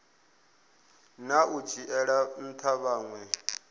na u dzhiela ntha vhanwe